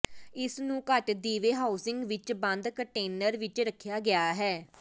ਇਸ ਨੂੰ ਘੱਟ ਦੀਵੇ ਹਾਊਸਿੰਗ ਵਿੱਚ ਬੰਦ ਕੰਟੇਨਰ ਵਿੱਚ ਰੱਖਿਆ ਗਿਆ ਹੈ